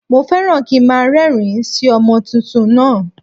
Mo fẹ́ràn kí nmá a rérìn- ín sí ọmọ tuntun náà